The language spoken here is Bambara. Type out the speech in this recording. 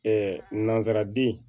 nanzararaden